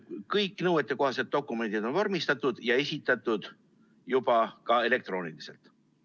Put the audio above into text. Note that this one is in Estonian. Kõik nõuetekohaselt dokumendid on vormistatud ja esitatud juba ka elektrooniliselt.